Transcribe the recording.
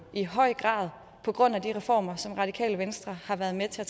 i høj grad på grund af de reformer som radikale venstre har været med til at